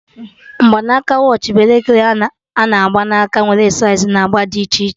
Mgbanaka watch bụ elekere a na-agba n'aka, nwere saiz na agba dị iche iche